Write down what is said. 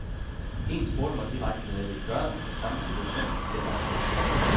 En spurgte mig direkte, hvad jeg ville gøre, hvis samme situation igen opstod.